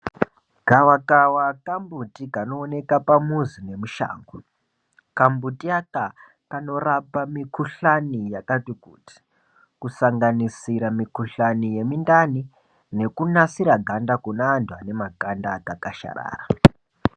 Gavakava kambuti kanooneka pamuzi nemushango. Kambuti aka kanorapa mikhulani yakati kuti, kusanganisira mikhulani yemindani nekunasira ganda kune antu anemakanda akakasharara.